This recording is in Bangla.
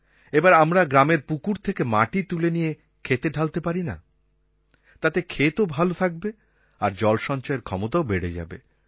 এবার আমরা গ্রামের পুকুর থেকে মাটি তুলে নিয়ে ক্ষেতে ঢালতে পারি না তাতে ক্ষেতও ভাল থাকবে আর তার জল সঞ্চয়ের ক্ষমতাও বেড়ে যাবে